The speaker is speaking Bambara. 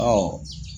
Ɔ